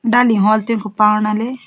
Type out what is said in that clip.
डानिंग ह्वाल तेंकु पाणा लें --